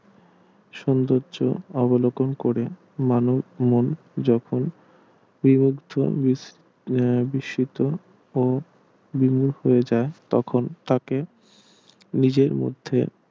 সৌন্দর্য অবলোকন করে মানুষ মন যখন বিমুগ্ধ বিস্ বিস্মিত ও বিমূখ হয় যায় তখন তাকে নিজের মধ্যে